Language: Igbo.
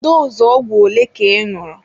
Doozụ ogwụ ole ka ị ñụrụ?